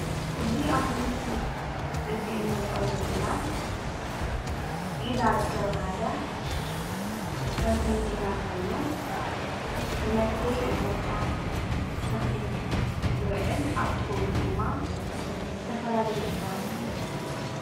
እዚ ኣብዚ ምስሊ እዚ እንሪኦ ዘለና ዒላ ዝተባሃለ ከርሰ ምድሪ ማይ ኾይኑ ንመስተዪ እንስሳ፣ ተኽሊ ዝውዕል ኣብ ጥቑኡ ድማ ዝተፈላለዩ እፅዋት ይርከብ፡፡